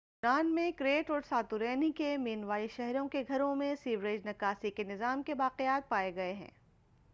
یونان میں کریٹ اور ساتورینی کے مینووائی شہروں کے گھروں میں سیویج نکاسی کے نظام کے باقیات پائے گئے ہیں